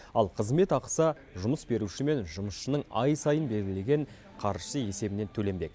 ал қызмет ақысы жұмыс беруші мен жұмысшының ай сайын белгілеген қаржысы есебінен төленбек